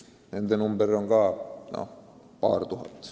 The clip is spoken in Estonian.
Nende arv on paar tuhat.